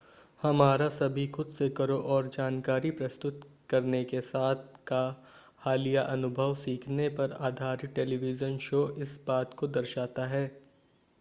हमारा सभी खुद-से-करो और जानकारी प्रस्तुत करने के साथ का हालिया अनुभव सीखने पर आधारित टेलीविज़न शो इस बात को दर्शाता है